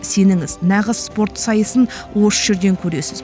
сеніңіз нағыз спорт сайысын осы жерден көресіз